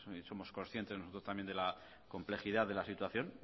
somos conscientes también nosotros de la complejidad de la situación